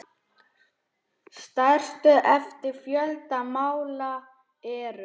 Stærstu eftir fjölda mála eru